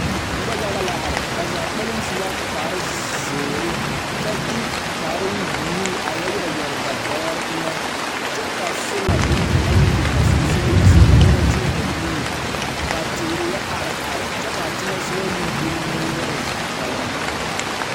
Noba yaga la are ba zaa kpɛlɛŋ su la kparezeere kyɛ de kparebuluu a yɛ yɛre yɛre ba bɔgere eŋɛ kyɛ ka sola boŋkaŋa meŋ biŋ ba soŋsogleŋsogɔ kyɛ ka ba tẽɛ ba nuuri ka teere yɛ are are kyɛ kaa teŋɛ meŋ buli moore o zaa kpɛlɛŋ.